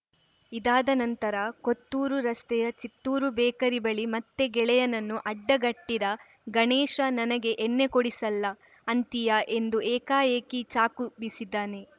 ಇದಾದ ನಂತರ ಕೊತ್ತೂರು ರಸ್ತೆಯ ಚಿತ್ತೂರು ಬೇಕರಿ ಬಳಿ ಮತ್ತೆ ಗೆಳೆಯನನ್ನು ಅಡ್ಡಗಟ್ಟಿದ ಗಣೇಶ ನನಗೆ ಎಣ್ಣೆ ಕೊಡಿಸಲ್ಲ ಅಂತೀಯಾ ಎಂದು ಏಕಾಏಕಿ ಚಾಕು ಬೀಸಿದ್ದಾನೆ